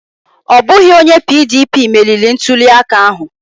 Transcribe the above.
Ọ bụghị onye PDP meriri ntuliaka ahụ.